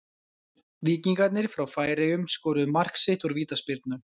Víkingarnir frá Færeyjum skoruðu mark sitt úr vítaspyrnu.